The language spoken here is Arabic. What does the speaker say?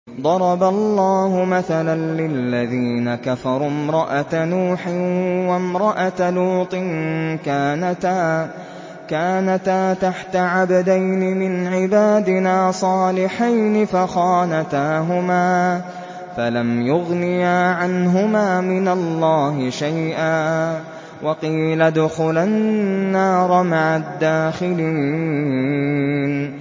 ضَرَبَ اللَّهُ مَثَلًا لِّلَّذِينَ كَفَرُوا امْرَأَتَ نُوحٍ وَامْرَأَتَ لُوطٍ ۖ كَانَتَا تَحْتَ عَبْدَيْنِ مِنْ عِبَادِنَا صَالِحَيْنِ فَخَانَتَاهُمَا فَلَمْ يُغْنِيَا عَنْهُمَا مِنَ اللَّهِ شَيْئًا وَقِيلَ ادْخُلَا النَّارَ مَعَ الدَّاخِلِينَ